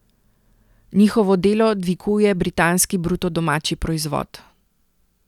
Njihovo delo dviguje britanski bruto domači proizvod.